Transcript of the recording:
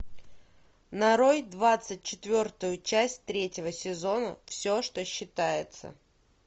нарой двадцать четвертую часть третьего сезона все что считается